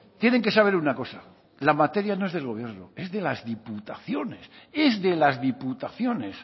tienen que saber una cosa la materia no es del gobierno es de las diputaciones es de las diputaciones